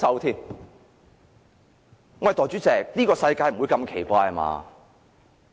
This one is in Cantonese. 代理主席，這個世界不會如此奇怪吧？